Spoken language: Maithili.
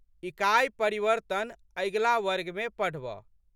इकाइ परिवर्त्तन अगिला वर्गमे पढ़बह।